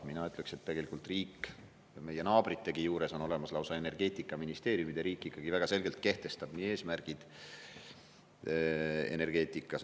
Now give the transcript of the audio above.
Mina ütleksin, et tegelikult meie naabritelgi on olemas lausa energeetikaministeerium ja riik ikkagi väga selgelt kehtestab eesmärgid energeetikas.